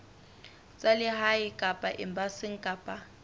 tsa lehae kapa embasing kapa